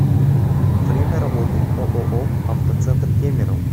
время работы ооо автоцентр кемерово